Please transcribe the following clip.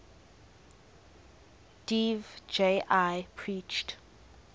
dev ji preached